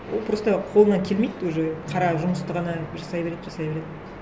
ол просто қолынан келмейді уже қара жұмысты ғана жасай береді жасай береді